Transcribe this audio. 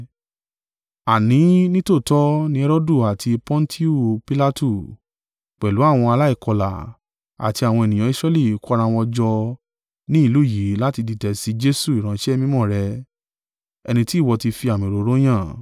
Àní nítòótọ́ ní Herodu àti Pọntiu Pilatu, pẹ̀lú àwọn aláìkọlà àti àwọn ènìyàn Israẹli kó ara wọn jọ ní ìlú yìí láti dìtẹ̀ sí Jesu Ìránṣẹ́ mímọ́ rẹ, ẹni tí ìwọ ti fi àmì òróró yàn,